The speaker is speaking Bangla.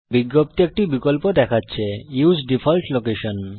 বিজ্ঞপ্তি একটি বিকল্প দেখাচ্ছে উসে ডিফল্ট লোকেশন